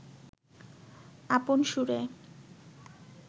আপন সুরে